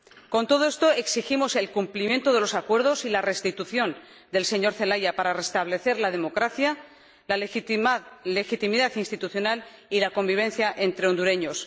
Con todo esto exigimos el cumplimiento de los acuerdos y la restitución del señor Zelaya para que se restablezcan la democracia, la legitimidad institucional y la convivencia entre hondureños.